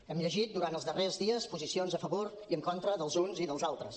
hem llegit durant els darrers dies posicions a favor i en contra dels uns i dels altres